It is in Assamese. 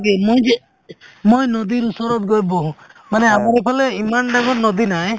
মই নদি ওচৰত গৈ বহো মানে আমাৰ ইফালে ইমান ডাঙৰ নদি নাই